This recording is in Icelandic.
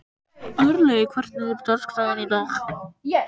Örlaugur, hvernig er dagskráin í dag?